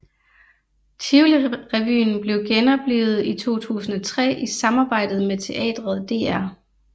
Tivoli Revyen blev genoplivet i 2003 i samarbejdet med teatret Dr